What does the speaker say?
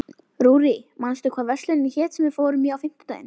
Rúrí, manstu hvað verslunin hét sem við fórum í á fimmtudaginn?